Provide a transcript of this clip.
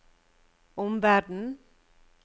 omverden